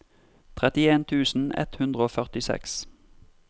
trettien tusen ett hundre og førtiseks